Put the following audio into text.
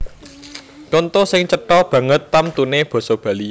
Conto sing cetha banget tamtuné basa Bali